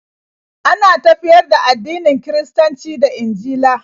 Ana tafiyar da addinin Kiristanci da Injila